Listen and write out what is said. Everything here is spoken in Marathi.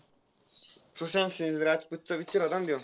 सुशांत सिंग राजपूतचा picture होता ना त्यो?